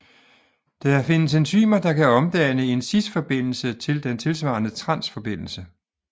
Der findes enzymer der kan omdanne en cisforbindelse til den tilsvarende transforbindelse